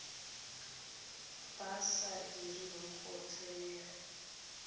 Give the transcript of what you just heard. ba sa direng go tsenela